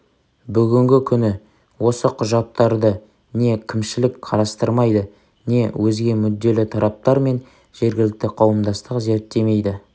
бүгінгі күні осы құжаттарды не кімшілік қарастырмайды не өзге мүдделі тараптар мен жергілікті қауымдастық зерттемейді